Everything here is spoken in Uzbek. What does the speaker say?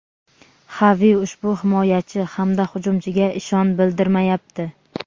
Xavi ushbu himoyachi hamda hujumchiga ishon bildirmayapti;.